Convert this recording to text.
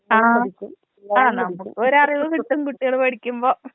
ആ ആനമുക്കൊരറിവ് കിട്ടും കുട്ടിയാള് പഠിക്കുമ്പോ.